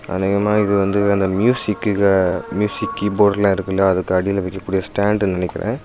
அநேகமாக இது வந்து அந்த மியூசிக் மியூசிக் கீபோர்டுலாம் இருக்குலயா அதுக்கு அடில வைக்க கூடிய ஸ்டாண்டுனு நெனைக்குறேன்.